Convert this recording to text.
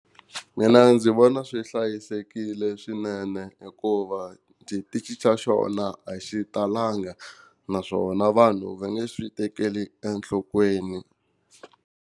Mina ndzi vona swi hlayisekile swinene hikuva xaa xona a xi talanga naswona vanhu va nge swi tekeli enhlokweni.